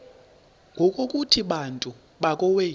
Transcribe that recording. ngokuthi bantu bakowethu